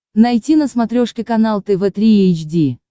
найти на смотрешке канал тв три эйч ди